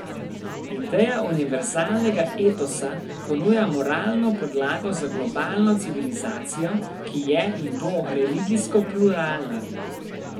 Ideja univerzalnega etosa ponuja moralno podlago za globalno civilizacijo, ki je in bo religijsko pluralna.